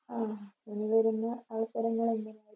ആഹ് ഇനി വെരുന്ന അവസരങ്ങൾ എങ്ങനെയാ